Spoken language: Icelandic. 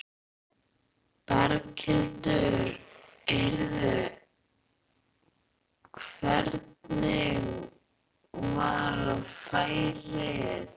Berghildur: Heyrðu, hvernig var færið?